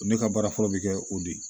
Ne ka baara fɔlɔ bɛ kɛ o de ye